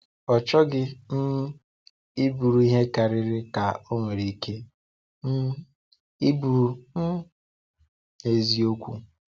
Ọ chọghị um iburu ihe karịrị ka o nwere ike um iburu um n’eziokwu.